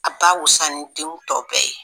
A ba wusan ni denw tɔw bɛɛ ye!